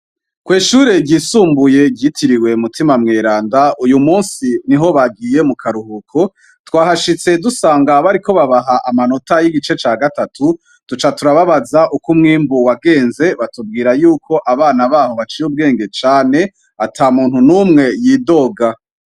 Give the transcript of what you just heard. Kw'ishure ryisumbuye ryitiriwe Mutima mweranda, uyu musi niho bagiye mu karuhuko. Twahashitse dusanga bariko babaha amanota y'igice ca gatatu duca turababaza uko umwimbu wagenze, batubwira yuko abana baho baciye ubwenge cane ata muntu n'umwe yidoga.